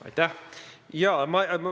Aitäh!